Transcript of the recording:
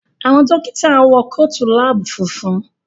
Àwọn Dókítà wọ Kóòtù lab funfun